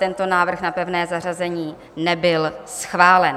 Tento návrh na pevné zařazení nebyl schválen.